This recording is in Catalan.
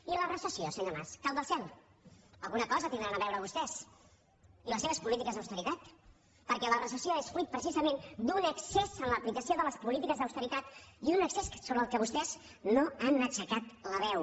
i la recessió senyor mas cau del cel alguna cosa hi deuen tenir a veure vostès i les seves polítiques d’austeritat perquè la recessió és fruit precisament d’un excés en l’aplicació de les polítiques d’austeritat i un excés sobre el qual vostès no han aixecat la veu